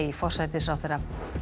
forsætisráðherra